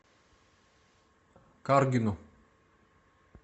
каргину